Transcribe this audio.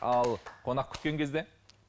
ал қонақ күткен кезде